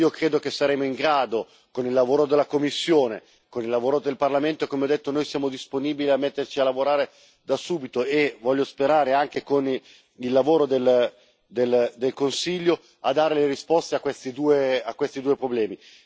Io credo che saremo in grado con il lavoro della Commissione, con il lavoro del Parlamento e come ho detto noi siamo disponibili a metterci a lavorare da subito e voglio sperare anche con il lavoro del Consiglio, a dare le risposte a questi due problemi.